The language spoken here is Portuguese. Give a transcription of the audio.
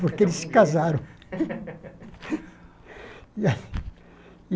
Porque eles se casaram.